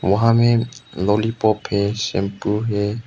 वहां में लॉलीपॉप है शैंपू है।